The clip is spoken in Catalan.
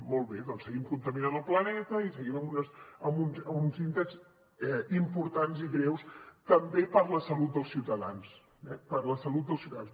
molt bé doncs seguim contaminant el planeta i seguim amb uns índexs importants i greus també per la salut dels ciutadans eh per la salut dels ciutadans